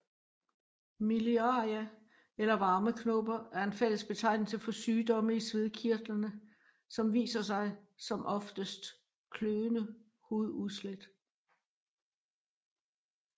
Miliaria eller varmeknopper er en fællesbetegnelse for sygdomme i svedkirtlerne som viser sig som oftest kløende hududslæt